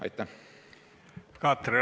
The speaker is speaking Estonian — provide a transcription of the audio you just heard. Katri Raik, palun!